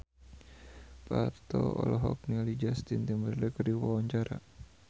Parto olohok ningali Justin Timberlake keur diwawancara